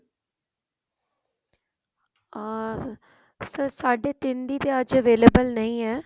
ਅਮ sir ਸਾਢੇ ਤਿੰਨ ਦੀ ਤਾਂ ਅੱਜ available ਨਹੀਂ ਹੈ